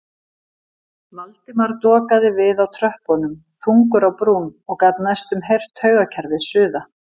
Valdimar dokaði við á tröppunum þungur á brún og gat næstum heyrt taugakerfið suða.